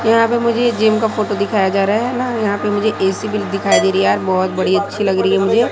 यहां पे मुझे ये जिम का फोटो दिखाया जा रहा है ना यहां पे मुझे ए_सी भी दिखाई दे रही यार बहोत बड़ी अच्छी लग रही है मुझे--